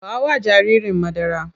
Ba wa jaririn madara!